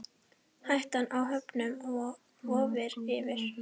Hættan á höfnun vofir yfir.